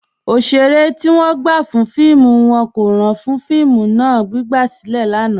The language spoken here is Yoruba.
Ọṣẹ̀rẹ̀ ti wọn gbà fún fíìmù wọn kò ràn fún fíìmù náà, gbigbasilẹ̀ lánà.